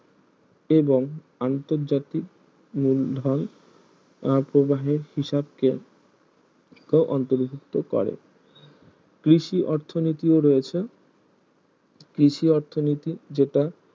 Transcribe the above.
এবং আন্তর্জাতিক মূলধন আহ প্রবাহের হিসাব কে অন্তভুক্ত করে কৃষি অর্থনীতিও রয়েছে কৃষি অর্থনীতি যেটা